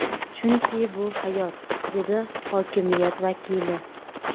Chunki bu hayot”, dedi hokimiyat vakili.